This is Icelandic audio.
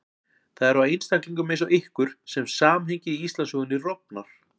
Það er á einstaklingum eins og ykkur sem samhengið í Íslandssögunni rofnar.